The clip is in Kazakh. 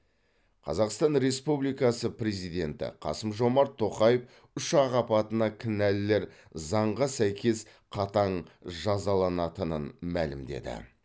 қазақстан республикасы президенті қасым жомарт тоқаев ұшақ апатына кінәлілер заңға сәйкес қатаң жазаланатынын мәлімдеді